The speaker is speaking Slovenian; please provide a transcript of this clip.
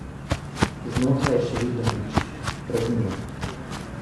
Znotraj je še vedno nič, praznina.